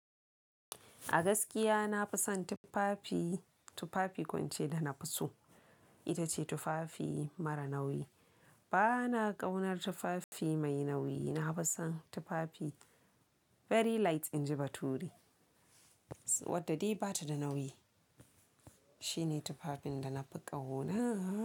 A gaskiya na fi son tufafi, tufafi ko ince da na fi so. Ita ce tufafi mara nauyi. Ba na ƙaunar tufafi mai nauyi. Na fi son tufafi very light inji bature. Wadda dai bata da nauyi. Shine tufafin da na fi ƙaunaaa.